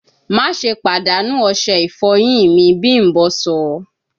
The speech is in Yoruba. Maṣe padanu ose ifoyin mi, bimbo sọ!